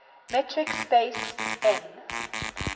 metric space m